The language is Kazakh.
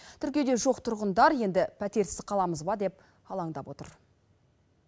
тіркеуде жоқ тұрғындар енді пәтерсіз қаламыз ба деп алаңдап отыр